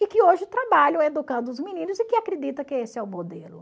E que hoje trabalham educando os meninos e que acredita que esse é o modelo.